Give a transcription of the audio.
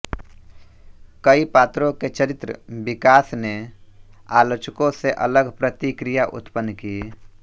कई पात्रों के चरित्र विकास ने आलोचकों से अलग प्रतिक्रिया उत्पन्न की